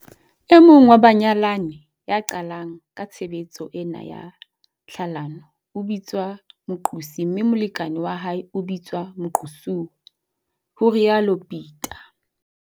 E mong wa banyalani ya qalang ka tshebetso ena ya tlhalano o bitswa moqosi mme molekane wa hae o bitswa moqosuwa, ho rialo Peta.